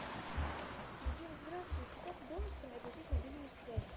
сбер здраствуйте как бонусами оплатить мобильную связь